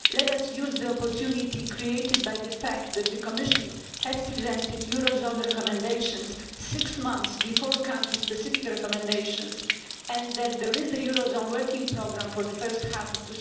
Let us use the opportunity created by the fact that the Commission has presented eurozone recommendations six months before country-specific recommendations and that there is a eurozone working programme for the first half of